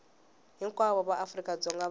hinkwavo va afrika dzonga va